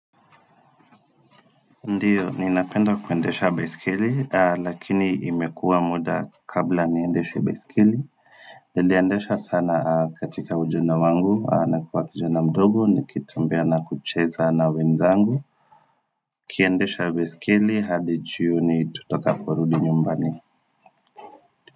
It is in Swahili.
Ndiyo, ninapenda kuendesha baiskeli, lakini imekuwa muda kabla niendeshe baiskeli. Niliendesha sana katika ujana wangu, na kuwa kijana mdogo, nikitembea na kucheza na wenzangu. Tukiendesha baiskeli, hadi jioni tutakaporudi nyumbani.